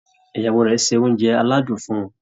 Ìyàwó rẹ̀ ṣe oúnjẹ aládùn fún un